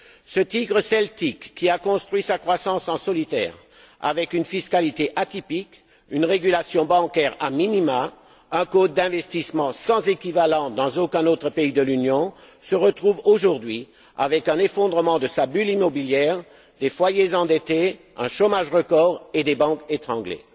Ce tigre celtique, qui a construit sa croissance en solitaire, avec une fiscalité atypique, une régulation bancaire a minima, un code d'investissement sans équivalent dans aucun autre pays de l'Union, se retrouve aujourd'hui avec un effondrement de sa bulle immobilière, des foyers endettés, un chômage record et des banques étranglées.